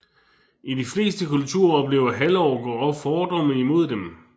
I de fleste kulturer oplever halvorker fordomme imod dem